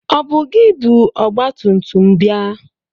Ọ bụ gị bụ ọgba tumtum bịa?